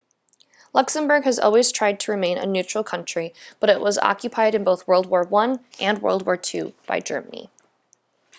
luxembourg has always tried to remain a neutral country but it was occupied in both world war i and world war ii by germany